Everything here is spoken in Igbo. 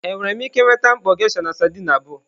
Enwere m ike nweta mkpọ geisha na sardine abụọ?